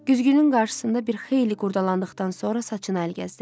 Güzgünün qarşısında bir xeyli qurdalandıqdan sonra saçına əl gəzdirirdi.